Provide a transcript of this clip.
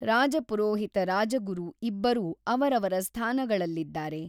ರಾಜಪುರೋಹಿತ ರಾಜಗುರು ಇಬ್ಬರೂ ಅವರವರ ಸ್ಥಾನಗಳಲ್ಲಿದ್ದಾರೆ.